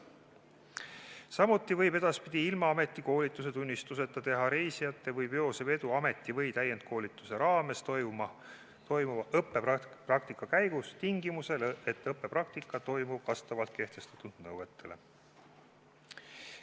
Samuti võib edaspidi ilma ametikoolituse tunnistuseta teha reisijate või veose vedu ameti- või täiendkoolituse raames toimuva õppepraktika käigus tingimusel, et õppepraktika toimub vastavalt kehtestatud nõuetele.